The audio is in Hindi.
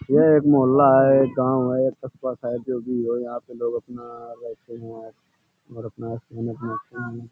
यह एक मोहल्ला है। एक गाँव है एक है जो भी है। यहाँ पे लोग अपना रहते है और अपना खाना पीना --